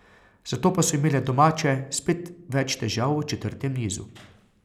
Zato pa so imele domače spet več težav v četrtem nizu.